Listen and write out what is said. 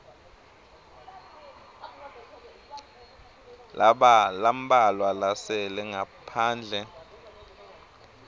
lambalwa lasele ngaphandle